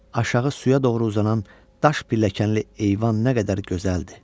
Aşağı suya doğru uzanan daş pilləkənli eyvan nə qədər gözəldir.